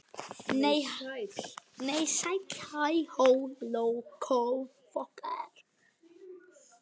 Edda faðmar hana og kyssir að skilnaði.